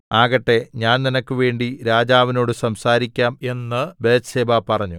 ആകട്ടെ ഞാൻ നിനക്ക് വേണ്ടി രാജാവിനോട് സംസാരിക്കാം എന്ന് ബത്ത്ശേബ പറഞ്ഞു